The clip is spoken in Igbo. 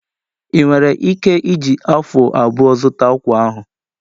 Ị nwere ike iji afu abụọ zụta akwa ahụ?